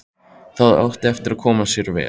Það átti eftir að koma sér vel.